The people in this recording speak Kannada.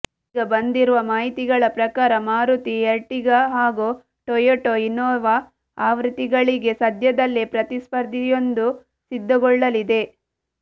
ಇದೀಗ ಬಂದಿರುವ ಮಾಹಿತಿಗಳ ಪ್ರಕಾರ ಮಾರುತಿ ಎರ್ಟಿಗಾ ಹಾಗೂ ಟೊಯೊಟಾ ಇನ್ನೋವಾ ಆವೃತ್ತಿಗಳಿಗೆ ಸದ್ಯದಲ್ಲೇ ಪ್ರತಿಸ್ಪರ್ಧಿಯೊಂದು ಸಿದ್ಧಗೊಳ್ಳಲಿದೆ